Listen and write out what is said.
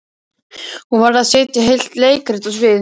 Hún varð að setja heilt leikrit á svið.